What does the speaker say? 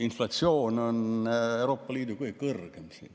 Inflatsioon on Euroopa Liidu kõige kõrgem siin.